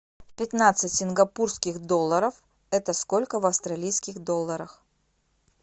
пятнадцать сингапурских долларов это сколько в австралийских долларах